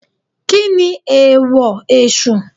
Kíni èèwọ̀ Èsù?